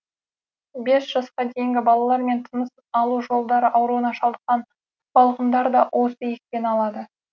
бес жасқа дейінгі балалар мен тыныс алу жолдары ауруына шалдыққан балғындар да осы екпені алады